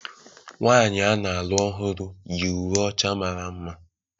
Nwaanyị a na-alụ ọhụrụ yi uwe ọcha mara mma.